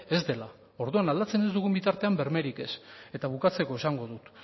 ez dela orduan aldatzen ez dugun bitartean bermerik ez eta bukatzeko esango dut